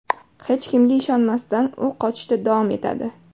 Hech kimga ishonmasdan u qochishda davom etadi.